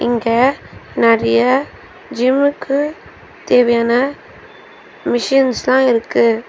இங்க நறிய ஜிம்முக்கு தேவையான மிஷின்ஸ்லா இருக்கு.